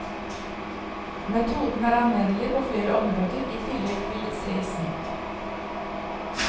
Metoden er anvendelig på flere områder i tillegg til seismikk.